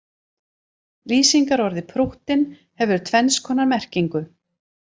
Lýsingarorðið prúttinn hefur tvenns konar merkingu.